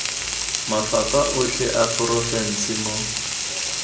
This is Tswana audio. mafapha otlhe a porofense mo